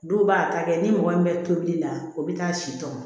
Dɔw b'a ta kɛ ni mɔgɔ min bɛ tobili la o bɛ taa si tɔmɔ